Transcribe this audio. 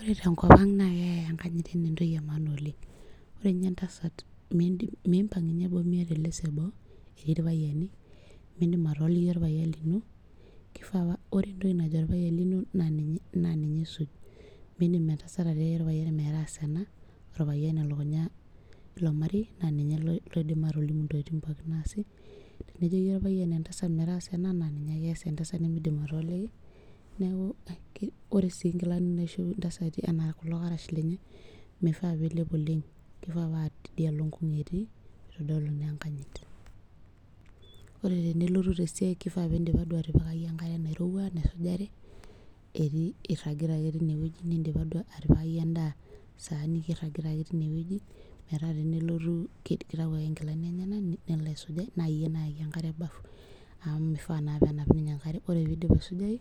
Ore tenkop aang na keyae enkanyit ana entoki emaana oleng ore nye entasat mipang nye boo miata eleso eboo teneti irpayiani mimdim atooliki orpayian lino mindim entasat atiaki orpayian maidim ataasa ena orpayian elukunya nemeidim nejoki orpayianbmetaasa ena na ninye ake ias entasat nimidim atooliki ore si nkilani naishop ntasati anaa kulo karash mifaa pilep oleng kifaa paa tidialo nkunh etii pitadolu enkanyit ore pelitu tesiai kifaa pindipa duo atipika enkare nairowua nisujare etii iragita ake tinewueji nindipa atipitkaki endaa niyer niik tinewueji metaa tenelotu kitaubake nkilani enyenak nelo aisuja na iyie olaaki enkare orbafubamu mifaa ninye penap enkare ore pidip aisujai